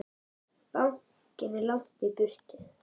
Bankinn er langt í burtu.